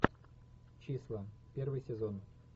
числа первый сезон